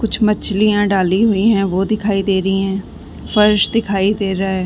कुछ मछलियाँ डाली हुईं हैं वो दिखाई दे रहीं हैं फर्श दिखाई दे रहा है।